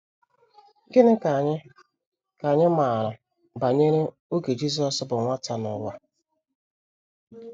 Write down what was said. Gịnị ka anyị ka anyị maara banyere oge Jisọs bụ nwata n’ụwa?